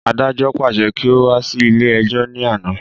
Adájọ́ pàṣẹ kí o wá sí ilé ẹjọ́ ní àná